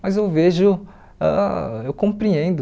Mas eu vejo, ãh eu compreendo.